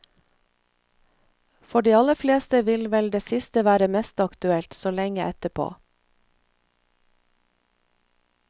For de aller fleste vil vel det siste være mest aktuelt, så lenge etterpå.